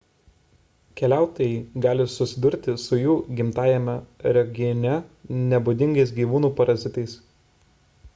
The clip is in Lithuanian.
keliautojai gali susidurti su jų gimtajame regione nebūdingais gyvūnų parazitais